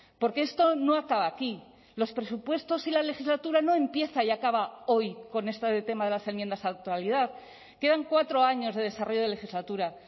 porque esto no acaba aquí los presupuestos y la legislatura no empieza y acaba hoy con este tema de las enmiendas a la actualidad quedan cuatro años de desarrollo de legislatura